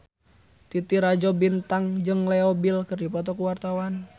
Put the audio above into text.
Titi Rajo Bintang jeung Leo Bill keur dipoto ku wartawan